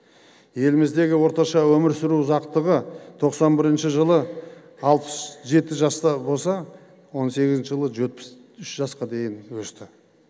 еліміздегі орташа өмір сүру ұзақтығы тоқсан бірінші жылы алпыс жеті жаста болса он сегізінші жылы жетпіс үш жасқа дейін өсті